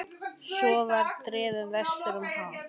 Svo var ég drifinn vestur um haf.